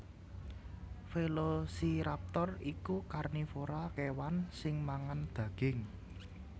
Velociraptor iku karnivora kèwan sing mangan daging